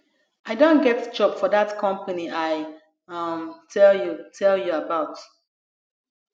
i don get job for dat company i um tell you tell you about